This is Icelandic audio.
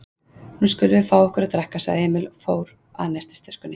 Nú skulum við fá okkur að drekka, sagði Emil og fór að nestistöskunni.